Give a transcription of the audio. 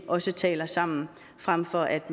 også taler sammen fremfor at